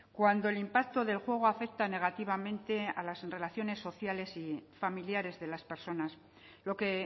cuando el impacto del juego afecta negativamente a las relaciones sociales y familiares de las personas lo que